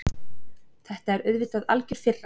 Þetta er auðvitað algjör firra.